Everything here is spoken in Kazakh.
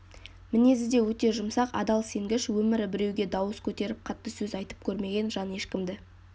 мінезі де өте жұмсақ адал сенгіш өмірі біреуге дауыс көтеріп қатты сөз айтып көрмеген жан ешкімді